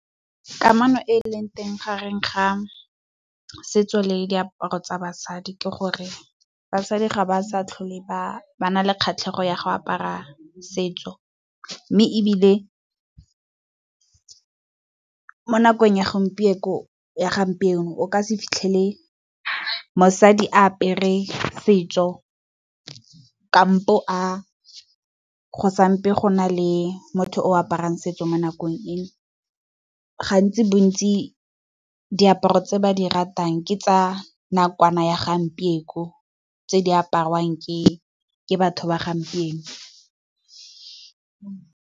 Ka kamano e e leng teng gareng ga setso le le diaparo tsa basadi ke gore, basadi ga ba sa tlhole ba ba na le kgatlhego ya go apara setso. Mme ebile mo nakong ya gompieno o ka se fitlhele mosadi a apere setso, kampo a, go sampo go na le motho o aparang setso mo nakong eno. Gantsi bontsi, diaparo tse ba di ratang ke tsa nakwana ya gompieno tse di apariwang ke batho ba gompieno.